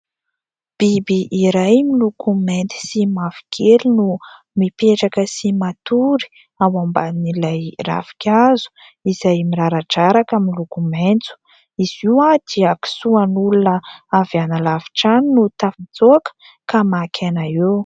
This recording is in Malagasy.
Biby iray miloko mainty sy mavokely no mipetraka sy matory ao amban''ilay ravinkazo izay miraradraraka miloko maitso. Izy io dia kiso an'olona avy any halavitra any no tafitsoaka ka maka aina eo.